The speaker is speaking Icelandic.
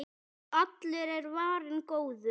Allur er varinn góður.